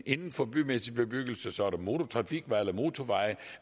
inden for bymæssig bebyggelse så er der motortrafikveje eller motorveje